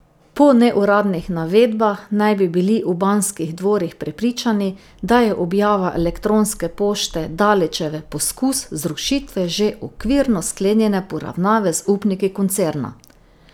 Po neuradnih navedbah naj bi bili v Banskih dvorih prepričani, da je objava elektronske pošte Dalićeve poskus zrušitve že okvirno sklenjene poravnave z upniki koncerna.